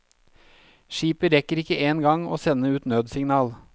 Skipet rekker ikke engang å sende ut nødsignal.